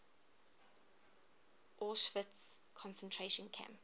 auschwitz concentration camp